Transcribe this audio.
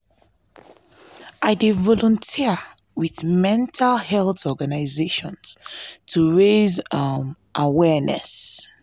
i dey volunteer with mental health organizations to raise um awareness.